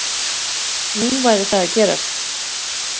Nú væri það að gerast